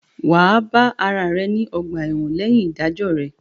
Wà á bá ara rẹ ní ọ̀gbà-ẹ̀wọ̀n lẹ́yìn ìdájọ́ rẹ̀